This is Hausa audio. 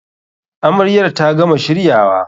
Amaryar ta gama shiryawa.